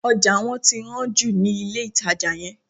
Ọjà wọ́n ti hán jù ní ilé-ìtàjà yẹn